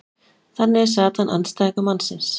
þannig er satan andstæðingur mannsins